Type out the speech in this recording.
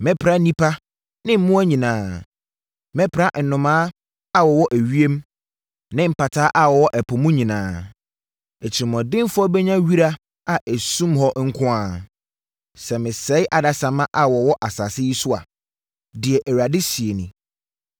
“Mɛpra nnipa ne mmoa nyinaa; mɛpra nnomaa a wɔwɔ ewiem ne mpataa a wɔwɔ ɛpo mu nyinaa. Atirimuɔdenfoɔ bɛnya wira a ɛsum hɔ nko ara sɛ mesɛe adasamma a wɔwɔ asase yi so a,” deɛ Awurade seɛ nie.